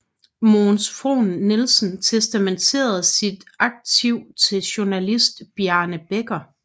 Mogens Frohn Nielsen testamenterede sit arkiv til journalist Bjarne Bekker